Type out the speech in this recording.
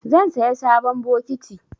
Zan saya sabon bokiti.